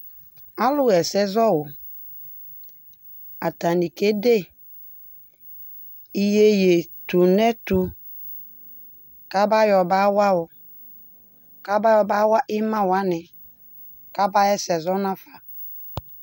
Alʋ hɛsɛ zɔwʋ, atani kede iyeye tun'ɛtu kaba yɔ ba wa wʋ, kaba yɔ ba wa ima wani, kaba hɛsɛ zɔ n'afa